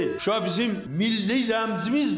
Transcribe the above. Şuşa bizim milli rəmzimizdir.